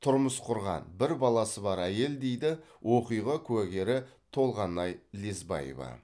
тұрмыс құрған бір баласы бар әйел дейді оқиға куәгері толғанай лесбаева